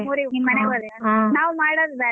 ನಾವ್ ಮಾಡೋದ್ ಬ್ಯಾಡ.